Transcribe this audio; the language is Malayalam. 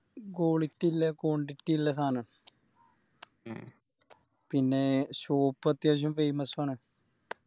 Quality ഇളേ Quantity ഇളേ സാന പിന്നെ Shop അത്യാവശ്യം Famous ആണ്